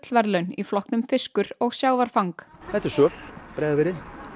gullverðlun í flokknum fiskur og sjávarfang þetta er söl úr Breiðafirði